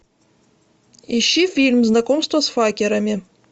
ищи фильм знакомство с факерами